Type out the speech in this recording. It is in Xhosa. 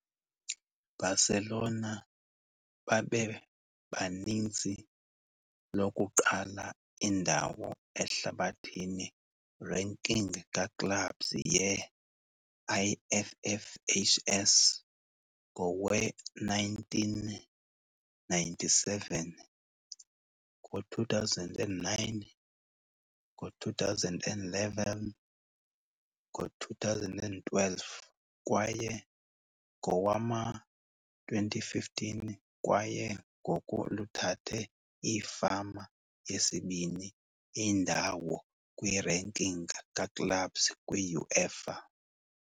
Barcelona babebaninzi lokuqala indawo ehlabathini ranking ka-clubs ye - IFFHS ngowe-1997, ngo-2009, ngo-2011, 2012 kwaye ngowama-2015, kwaye ngoku luthathe iifama yesibini indawo kwi - ranking ka-clubs kwi-UEFA.